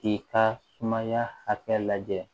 K'i ka sumaya hakɛ lajɛ